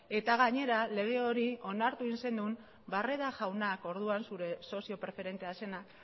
eta gainera lege hori onartu egin zenuen barreda jaunak orduan zure sozio preferentea zena